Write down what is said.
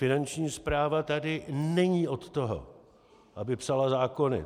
Finanční správa tady není od toho, aby psala zákony.